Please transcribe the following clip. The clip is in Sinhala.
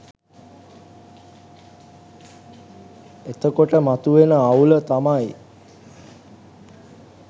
එතකොට මතුවෙන අවුල තමයි